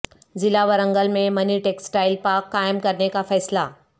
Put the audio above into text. ضلع ورنگل میں mini textile park قائم کرنے کا فیصلہ